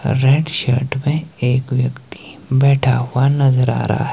red shirt में एक व्यक्ति बैठा हुआ नजर आ रहा--